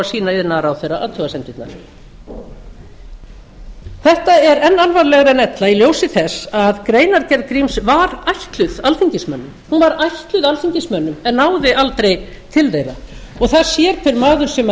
sýna iðnaðarráðherra athugasemdirnar þetta er enn alvarlegra en ella í ljósi þess að greinargerð gríms var ætluð alþingismönnum hún var ætluð alþingismönnum en náði aldrei til þeirra það sér hver maður sem